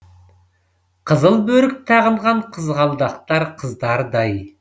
қызыл бөрік тағынған қызғалдақтар қыздардай